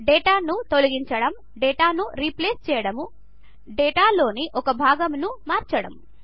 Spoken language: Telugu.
డేటాను తొలగించడం డేటాను రీప్లేస్ చేయడము డేటాలోని ఒక భాగమును మార్చడము